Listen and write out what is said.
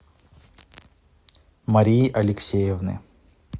марии алексеевны